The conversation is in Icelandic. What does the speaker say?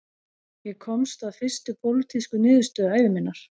Ég komst að fyrstu pólitísku niðurstöðu ævi minnar